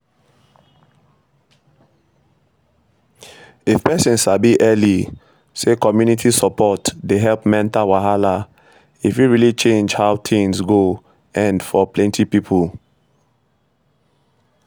if person sabi early say community support dey help mental wahala e fit really change how things go end for plenty people